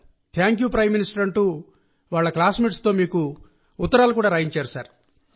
thank you prime minister అంటూ తమ classmates తో మీకు లేఖలు కూడా వాళ్ళు రాయించారు సార్